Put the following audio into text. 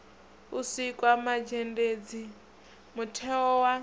u sikwa mazhendedzi mutheo wa